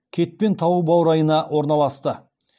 кетпен тауы баурайына орналасты